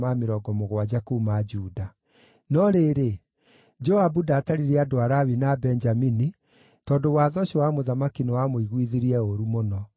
No rĩrĩ, Joabu ndaatarire andũ a Lawi na a Benjamini, tondũ watho ũcio wa mũthamaki nĩwamũiguithĩtie ũũru mũno.